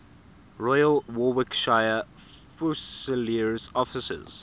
royal warwickshire fusiliers officers